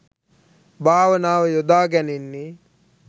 භාවනාව යොදා ගැනෙන්නේ